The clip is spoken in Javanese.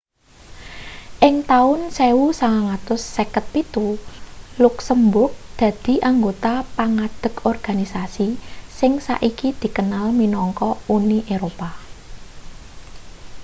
ing taun 1957 luksemburg dadi anggota pangadeg organisasi sing saiki dikenal minangka uni eropa